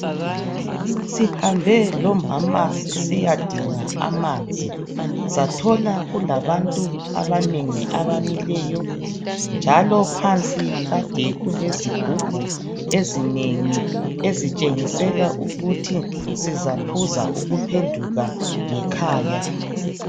Sihambe lomama sisiya dinga amanzi sathola kulabantu abanengi abamileyo njalo phansi kade kulezigubhu ezinengi ezitshengisela ukuthi sizaphuza ukuphenduka ngekhaya.